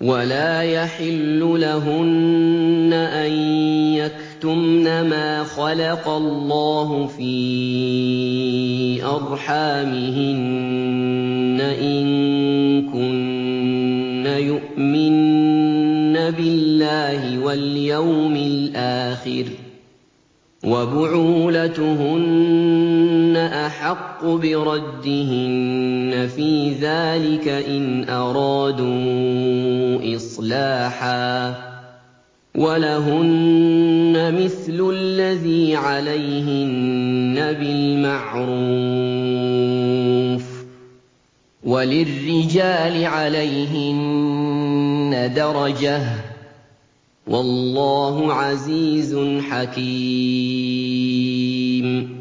وَلَا يَحِلُّ لَهُنَّ أَن يَكْتُمْنَ مَا خَلَقَ اللَّهُ فِي أَرْحَامِهِنَّ إِن كُنَّ يُؤْمِنَّ بِاللَّهِ وَالْيَوْمِ الْآخِرِ ۚ وَبُعُولَتُهُنَّ أَحَقُّ بِرَدِّهِنَّ فِي ذَٰلِكَ إِنْ أَرَادُوا إِصْلَاحًا ۚ وَلَهُنَّ مِثْلُ الَّذِي عَلَيْهِنَّ بِالْمَعْرُوفِ ۚ وَلِلرِّجَالِ عَلَيْهِنَّ دَرَجَةٌ ۗ وَاللَّهُ عَزِيزٌ حَكِيمٌ